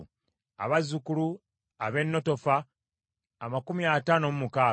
abazzukulu ab’e Netofa amakumi ataano mu mukaaga (56),